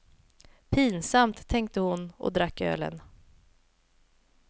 Pinsamt, tänkte hon och drack ölen.